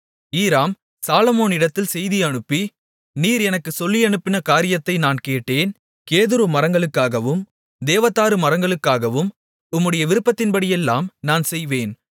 ஈராம் சாலொமோனிடத்தில் செய்தி அனுப்பி நீர் எனக்குச் சொல்லியனுப்பின காரியத்தை நான் கேட்டேன் கேதுரு மரங்களுக்காகவும் தேவதாரு மரங்களுக்காகவும் உம்முடைய விருப்பத்தின்படியெல்லாம் நான் செய்வேன்